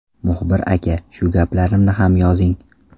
Muxbir aka, shu gaplarimni ham yozing!